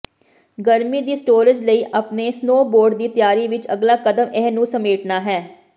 ਗਰਮੀ ਦੀ ਸਟੋਰੇਜ ਲਈ ਆਪਣੇ ਸਨੋਬੋਰਡ ਦੀ ਤਿਆਰੀ ਵਿੱਚ ਅਗਲਾ ਕਦਮ ਇਹ ਨੂੰ ਸਮੇਟਣਾ ਹੈ